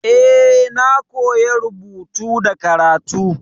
Eh, na koya rubutu da karatu.